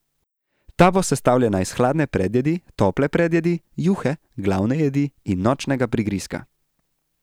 Ta bo sestavljena iz hladne predjedi, tople predjedi, juhe, glavne jedi in nočnega prigrizka.